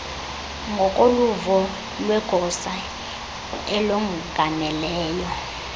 ngokoluvo lwegosa elongameleyo